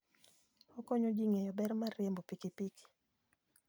Okonyo ji ng'eyo ber mar riembo pikipiki.